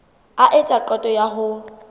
a etsa qeto ya ho